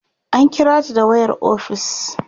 an kirata da wayar ofis